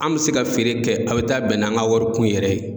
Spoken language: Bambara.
An bɛ se ka feere kɛ, a bɛ taa bɛn n'an ka wari kun yɛrɛ ye.